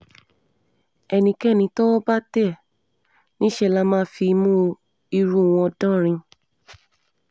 ẹnikẹ́ni tọ́wọ́ bá tẹ̀ níṣẹ́ lá máa fimú irú wọn dánrin